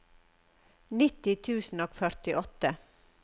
nitti tusen og førtiåtte